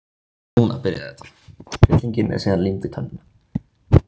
Fyllingin er síðan límd í tönnina.